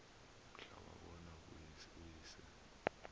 mhla wabona uyise